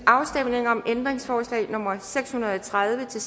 afstemning om ændringsforslag nummer seks hundrede og tredive til